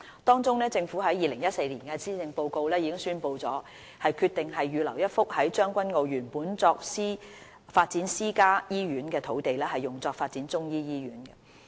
當中，政府在2014年施政報告中已宣布，決定預留一幅在將軍澳原本作發展私家醫院的土地，用作發展中醫醫院。